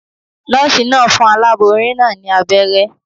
Nòòsì naa n fun aláboyún naa ní abéré